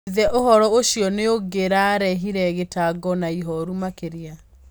Ithe uhoro ucio niungiarehire gitango na ihoru makiria